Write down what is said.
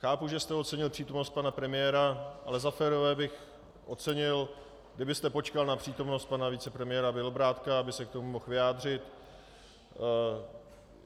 Chápu, že jste ocenil přítomnost pana premiéra, ale za férové bych ocenil, kdybyste počkal na přítomnost pana vicepremiéra Bělobrádka, aby se k tomu mohl vyjádřit.